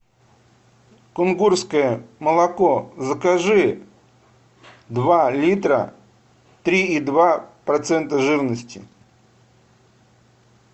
кунгурское молоко закажи два литра три и два процента жирности